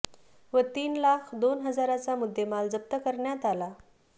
व तीन लाख दोन हाजाराचा मुद्देमाल जप्त करण्यात आला